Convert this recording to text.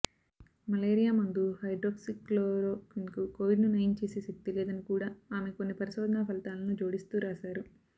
malaria మందు హైడ్రోక్సిక్లోరోక్విన్కూ కోవిడ్ను నయం చేసే శక్తి లేదని కూడా ఆమె కొన్ని పరిశోధనా ఫలితాలను జోడిస్తూ రాశారు